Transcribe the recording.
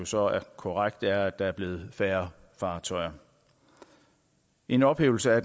så er korrekt at der er blevet færre fartøjer en ophævelse af